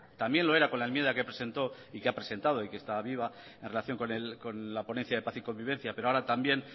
también lo era con la enmienda que presentó y que ha presentado y que está viva en relación con la ponencia de paz y convivencia pero ahora también